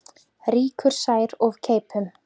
Rýkur sær of keipum.